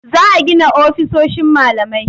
Za a gina ofisoshin malamai.